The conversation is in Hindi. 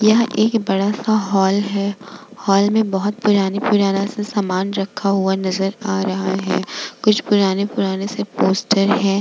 यह एक बड़ा सा हॉल है हॉल में बहुत पुराने-पुराने सा सामान रखा हुआ नज़र आ रहा है कुछ पुराने-पुराने से पोस्टर है ।